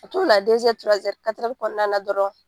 Ka to ka na kɔnɔna dɔrɔn.